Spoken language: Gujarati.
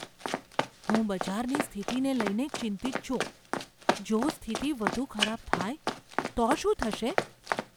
હું બજારની સ્થિતિને લઈને ચિંતિત છું. જો સ્થિતિ વધુ ખરાબ થાય તો શું થશે?